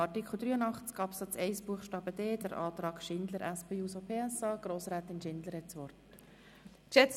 Wir kommen zu Artikel 83 Absatz 1 Buchstabe d und zum Antrag Schindler/SP-JUSO-PSA.